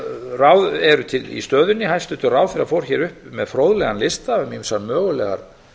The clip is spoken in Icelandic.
ráð eru til í stöðunni hæstvirtur ráðherra fór hér upp með fróðlegan lista um ýmsar mögulegar